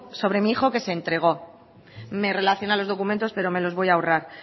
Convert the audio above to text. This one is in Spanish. sobre mi hijo que se entrego me relaciona los documentos pero me los voy a ahorrar